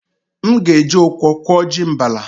M ga-eji okwọ kwọ ji mbala.